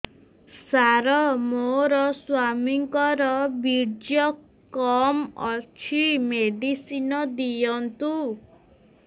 ସାର ମୋର ସ୍ୱାମୀଙ୍କର ବୀର୍ଯ୍ୟ କମ ଅଛି ମେଡିସିନ ଦିଅନ୍ତୁ